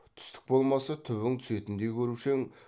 түстік болмаса түбің түсетіндей көруші ең